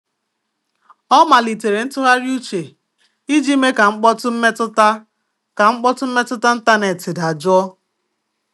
Ọ malitere ntụgharị uche iji mee ka mkpọtụ mmetụta ka mkpọtụ mmetụta ntanetị dajụọ.